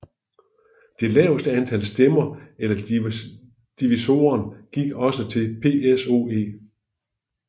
Det laveste antal stemmer eller divisoren gik også til PSOE